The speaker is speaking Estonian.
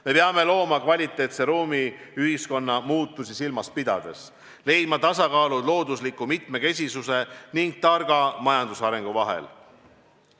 Me peame looma kvaliteetse ruumi ühiskonna muutusi silmas pidades, leidma tasakaalu loodusliku mitmekesisuse ning targa majandusarengu vahel.